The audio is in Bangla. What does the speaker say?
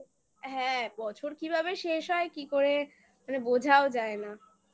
হ্যাঁ বছর কিভাবে শেষ হয় কি করে মানে বোঝাও যায় না